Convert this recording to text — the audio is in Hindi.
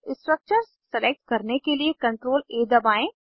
स्ट्रक्चर्स सलेक्ट करने के लिए CTRLA दबाएं